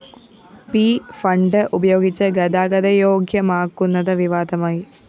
P fund ഉപയോഗിച്ച് ഗതാഗതയോഗ്യമാക്കുന്നത് വിവാദമായി